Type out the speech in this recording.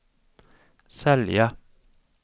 sälja